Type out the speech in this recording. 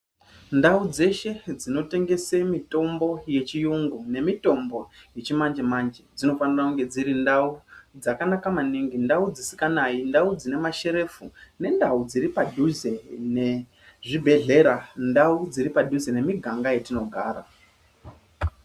Ndau dzeshe dzinotengese mitombo yechiyungu nemitombo yechi manje manje dzinofanira kunge dziri ndau dzisikanayi ndau dzine masherefu nendau dziri padhuze nezvibhedhlera ndau dziri padhuze nemiganga yatinogara.